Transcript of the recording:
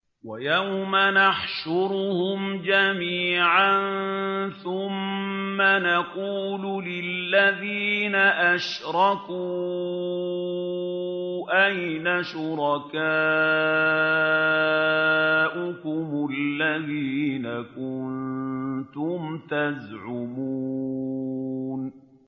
وَيَوْمَ نَحْشُرُهُمْ جَمِيعًا ثُمَّ نَقُولُ لِلَّذِينَ أَشْرَكُوا أَيْنَ شُرَكَاؤُكُمُ الَّذِينَ كُنتُمْ تَزْعُمُونَ